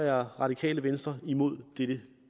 er radikale venstre imod dette